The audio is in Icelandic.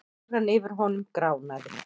Áran yfir honum gránaði.